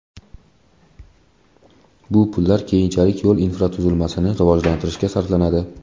Bu pullar keyinchalik yo‘l infratuzilmasini rivojlantirishga sarflanadi.